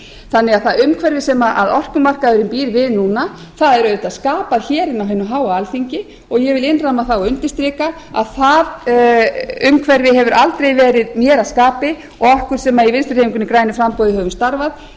þannig að það umhverfi sem orkumarkaðurinn býr við núna er auðvitað skapað inni á hinu háa alþingi og ég vil innramma það og undirstrika að það umhverfi hefur aldrei verið mér að skapi og okkur sem í vinstri hreyfingunni grænu framboði höfum starfað